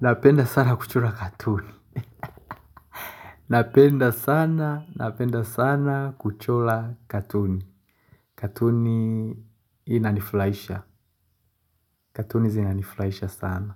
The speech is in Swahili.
Napenda sana kuchora katuni napenda sana napenda sana kuchola katuni katuni inanifulaisha katuni zinanifulaisha sana